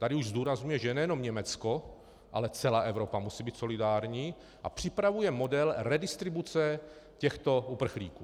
Tady už zdůrazňuje, že nejenom Německo, ale celá Evropa musí být solidární, a připravuje model redistribuce těchto uprchlíků.